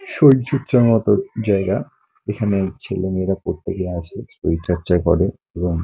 সত্যি সমতল জায়গা এখানে ছেলে- মেয়েরা প্রত্যেকেই আছে শরীর চর্চা করে এবং--